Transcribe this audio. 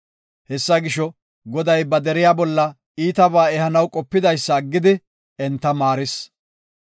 Hessa gisho, Goday ba deriya bolla iitabaa ehanaw qopidaysa aggidi, enta maaris.